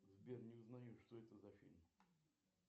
сбер не узнаю что это за фильм